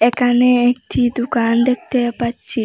একানে একটি দুকান দেখতে পাচ্ছি